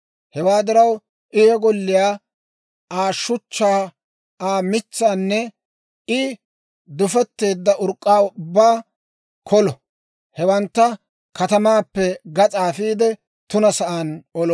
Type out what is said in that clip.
Hewaa diraw I he golliyaa, Aa shuchchaa, Aa mitsaanne I dufeteedda urk'k'aa ubbaa kolo; hewantta katamaappe gas'aa afiide, tuna sa'aan olo.